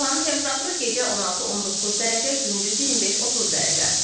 Havanın temperaturu gecə 16-19 dərəcə, gündüz 25-30 dərəcə.